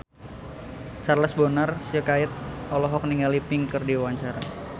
Charles Bonar Sirait olohok ningali Pink keur diwawancara